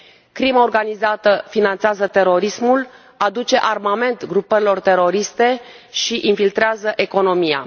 Crima organizată finanțează terorismul, aduce armament grupărilor teroriste și infiltrează economia.